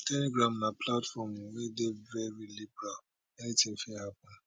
telegram na platform wey dey very liberal anything fit happen